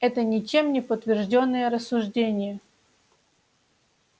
это ничем не подтверждённые рассуждения